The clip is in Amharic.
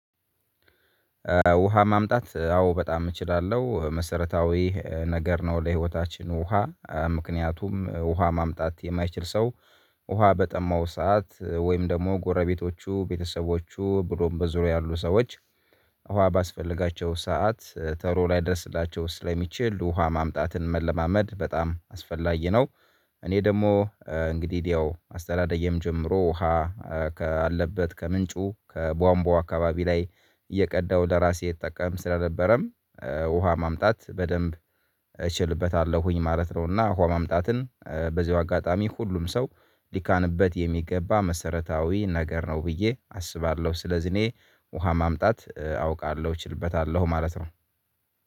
ውሃ ማምጣት አዎ በጣም እችላለሁ መሰረታዊ ነገር ነው ለህይወታችን ውሃ ምክንያቱም ውሃ ማምጣት የማይችል ሰው ውሃ በጠማው ሰዓት ወይም ደግሞ ጎረቤቶቹ ቤተሰቦቹ ብሎም በዙሪያው ያሉ ሰዎች ውሃ ባስፈለጋቸው ሰዓት ተሎ ላይደርስላቸው ስለሚችል ውሃ ማምጣትን መለማመድ በጣም አስፈላጊ ነው። እኔ ደግሞ እንግዲህ ያው አስተዳደጌም ጨምሮ ውሃ ካለበት ከምንጩ ከቧንቧ አካባቢ ላይ እየቀዳው ለራሴ እጠቀም ስለነበረም ውሃ ማምጣት በደንብ እችልበታለሁኝ ማለት ነው። እና ውሃ ማምጣትን በዚሁ አጋጣሚ ሁሉም ሰው ሊካንበት የሚገባ መሰረታዊ ነገር ነው ብዬ አስባለሁ። ስለዚህ እኔ ውሃ ማምጣት አውቃለሁ እችልበታለሁ ማለት ነው